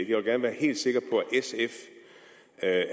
jeg vil gerne være helt sikker på at